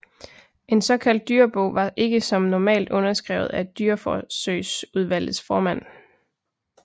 En såkaldt dyrebog var ikke som normalt underskrevet af dyreforsøgsudvalgets formand